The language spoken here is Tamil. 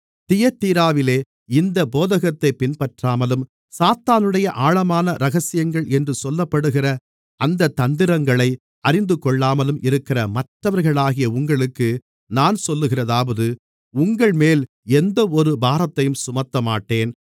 தியத்தீராவிலே இந்தப் போதகத்தைப் பின்பற்றாமலும் சாத்தானுடைய ஆழமான இரகசியங்கள் என்று சொல்லப்படுகிற அந்தத் தந்திரங்களை அறிந்துகொள்ளாமலும் இருக்கிற மற்றவர்களாகிய உங்களுக்கு நான் சொல்லுகிறதாவது உங்கள்மேல் எந்தவொரு பாரத்தையும் சுமத்தமாட்டேன்